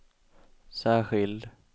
särskild